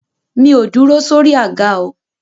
Mi ò dúró sórí àga o.